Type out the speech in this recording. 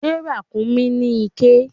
Ṣé ràkúnmí ní iké?